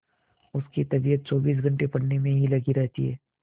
उसकी तबीयत चौबीस घंटे पढ़ने में ही लगी रहती है